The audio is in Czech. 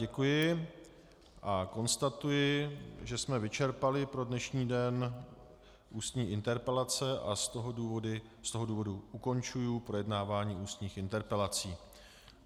Děkuji a konstatuji, že jsme vyčerpali pro dnešní den ústní interpelace, a z toho důvodu ukončuji projednávání ústních interpelací.